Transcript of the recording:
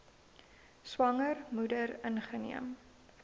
swanger moeder ingeneem